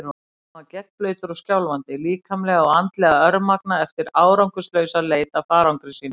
Hann var gegnblautur og skjálfandi, líkamlega og andlega örmagna eftir árangurslausa leit að farangri sínum.